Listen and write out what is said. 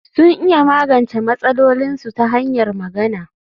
Sun iya magance matsalolinsu ta hanyar magana